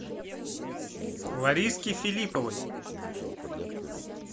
лариске филипповой